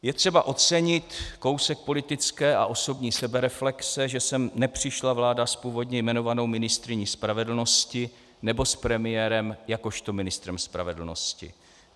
Je třeba ocenit kousek politické a osobní sebereflexe, že sem nepřišla vláda s původně jmenovanou ministryní spravedlnosti nebo s premiérem jakožto ministrem spravedlnosti.